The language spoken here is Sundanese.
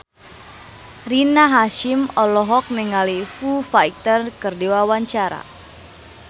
Rina Hasyim olohok ningali Foo Fighter keur diwawancara